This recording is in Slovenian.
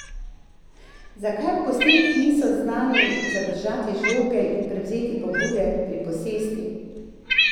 Zakaj v gosteh niso znali zadržati žoge in prevzeti pobude pri posesti?